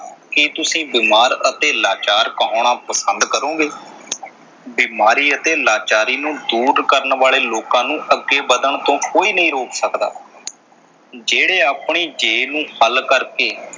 ਕੀ ਤੁਸੀਂ ਬੀਮਾਰ ਅਤੇ ਲਾਚਾਰ ਕਹਾਉਣਾ ਪਸੰਦ ਕਰੋਗੇ? ਬੀਮਾਰੀ ਅਤੇ ਲਾਚਾਰੀ ਨੂੰ ਦੂਰ ਕਰਨ ਵਾਲੇ ਲੋਕਾਂ ਨੂੰ ਅੱਗੇ ਵੱਧਣ ਤੋਂ ਕੋਈ ਨਈਂ ਰੋਕ ਸਕਦਾ ਜਿਹੜੇ ਆਪਣੀ ਜੇ ਨੂੰ ਹੱਲ ਕਰਕੇ,